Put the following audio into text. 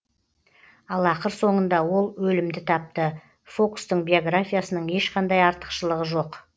ал ақыр соңында ол өлімді тапты фокстың биографиясының ешқандай артықшылығы жоқ